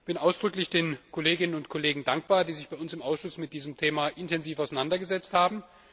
Ich bin ausdrücklich den Kolleginnen und Kollegen dankbar, die sich bei uns im Ausschuss mit diesem Thema intensiv auseinandergesetzt haben.